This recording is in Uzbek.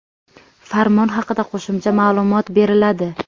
Farmon haqida qo‘shimcha maʼlumot beriladi.